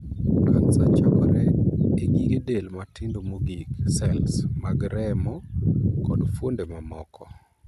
Kansa chakore e gige del matindo mogik (sels) mag remo kod fuonde mamoko.